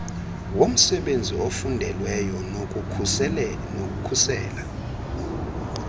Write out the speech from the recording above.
womsenzi ofundelweyo nokukhusela